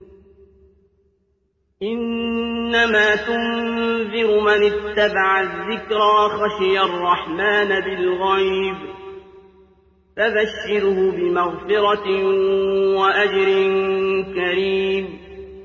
إِنَّمَا تُنذِرُ مَنِ اتَّبَعَ الذِّكْرَ وَخَشِيَ الرَّحْمَٰنَ بِالْغَيْبِ ۖ فَبَشِّرْهُ بِمَغْفِرَةٍ وَأَجْرٍ كَرِيمٍ